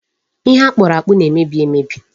Ihe akpụrụ akpụ na-emebi emebi.